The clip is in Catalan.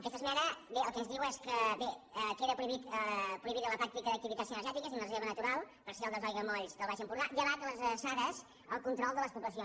aquesta esmena el que ens diu és que queda prohi·bida la pràctica d’activitats cinegètiques dins la reserva natural parcial dels aiguamolls del baix empordà llevat de les adreçades al control de les poblacions